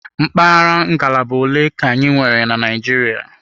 Mpaghara ngalaba ole ka anyị nwere na Naịjirịa?